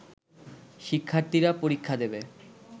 শিক্ষার্থীরা পরীক্ষা দেবে